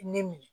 Ne minɛ